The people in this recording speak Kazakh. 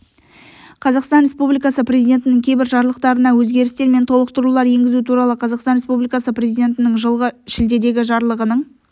қазақстан республикасы президентінің кейбір жарлықтарына өзгерістер мен толықтырулар енгізу туралы қазақстан республикасы президентінің жылғы шілдедегі жарлығының